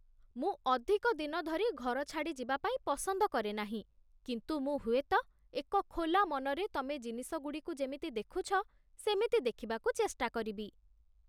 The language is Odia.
ମୁଁ ଅଧିକ ଦିନ ଧରି ଘର ଛାଡ଼ି ଯିବାପାଇଁ ପସନ୍ଦ କରେନାହିଁ, କିନ୍ତୁ ମୁଁ ହୁଏତ ଏକ ଖୋଲା ମନରେ ତମେ ଜିନିଷଗୁଡ଼ିକୁ ଯେମିତି ଦେଖୁଛ ସେମିତି ଦେଖିବାକୁ ଚେଷ୍ଟା କରିବି